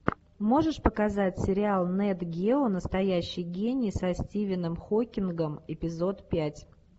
можешь показать сериал нет гео настоящий гений со стивеном хокингом эпизод пять